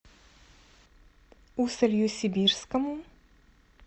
усолью сибирскому